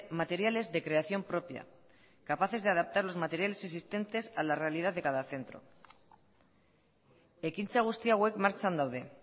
materiales de creación propia capaces de adaptar los materiales existentes a la realidad de cada centro ekintza guzti hauek martxan daude